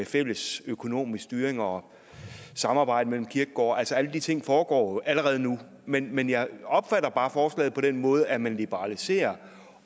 fælles økonomisk styring og samarbejde mellem kirkegårde altså alle de ting foregår allerede nu men men jeg opfatter bare forslaget på den måde at man liberaliserer